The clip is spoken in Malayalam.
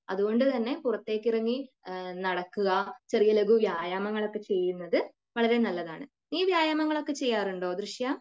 അതുകൊണ്ട് തന്നെ പുറത്തേക്കിറങ്ങി നടക്കുക, ചെറിയ ലഖു വ്യായാമങ്ങൾ ഒക്കെ ചെയ്യുന്നത് വളരെ നല്ലതാണ്. നീ വ്യായാമങ്ങൾ ഒക്കെ ചെയ്യാറുണ്ടോ ദൃശ്യ